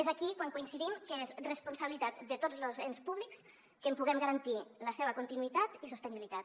és aquí que coincidim que és responsabilitat de tots los ens públics que en puguem garantir la seva continuïtat i sostenibilitat